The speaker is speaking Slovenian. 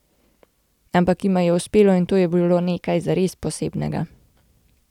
Ampak jima je uspelo in to je bilo nekaj zares posebnega.